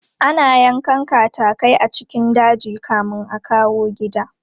Ana yankan katatai a cikin daji kamin a kawo gida.